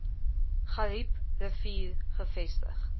garib rivier gevestig